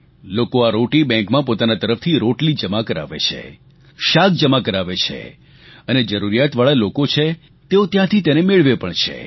લોકો આ રોટી બેંકમાં પોતાના તરફથી રોટલી જમા કરાવે છે શાક જમા કરાવે છે અને જરૂરિયાતવાળા લોકો છે તેઓ ત્યાંથી તેને મેળવે પણ છે